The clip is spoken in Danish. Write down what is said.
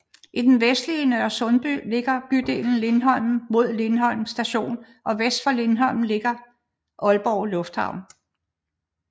I det vestlige Nørresundby ligger bydelen Lindholm med Lindholm Station og vest for Lindholm ligger Aalborg Lufthavn